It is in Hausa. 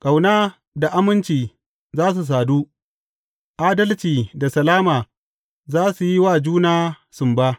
Ƙauna da aminci za su sadu; adalci da salama za su yi wa juna sumba.